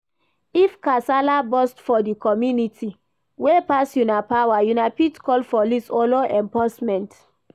If Kasala burst for di community wey pass una power una fit call police or law enforcement